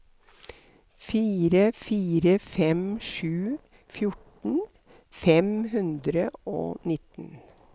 fire fire fem sju fjorten fem hundre og nitten